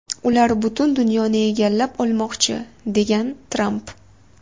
Ular butun dunyoni egallab olmoqchi”, degan Tramp.